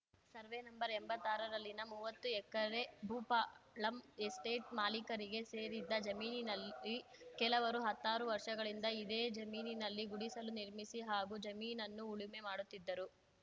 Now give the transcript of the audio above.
survey ನಂ ಎಂಭತ್ತಾರ ರಲ್ಲಿನ ಮೂವತ್ತು ಎಕರೆ ಭೂಪಾಳಂ ಎಸ್ಟೇಟ್‌ ಮಾಲೀಕರಿಗೆ ಸೇರಿದ್ದ ಜಮೀನಿನಲ್ಲಿ ಕೆಲವರು ಹತ್ತಾರು ವರ್ಷಗಳಿಂದ ಇದೇ ಜಮೀನಿನಲ್ಲಿ ಗುಡಿಸಲು ನಿರ್ಮಿಸಿ ಹಾಗೂ ಜಮೀನನ್ನು ಉಳುಮೆ ಮಾಡುತ್ತಿದ್ದರು